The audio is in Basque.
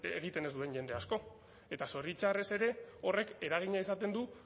egiten ez duen jende asko eta zoritxarrez ere horrek eragina izaten du